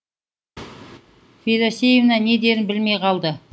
федосевна не дерін білмей қалды